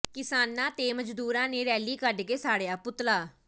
ਕਿਸਾਨਾਂ ਤੇ ਮਜ਼ਦੂਰਾਂ ਨੇ ਰੈਲੀ ਕੱਢ ਕੇ ਸਾੜਿਆ ਪੁਤਲਾ